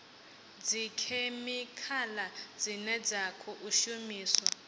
dzikhemikhala dzine dza khou shumiswa